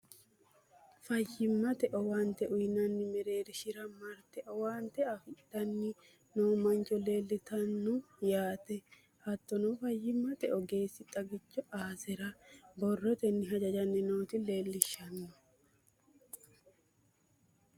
fayyimmate owaante uyiinanni mereershira marte owaante fidhanni noo mancho leeltanno yaate. hattono fayyimmate ogeessi xagicho aasera borrotenni hajajanni noota leelishshanno.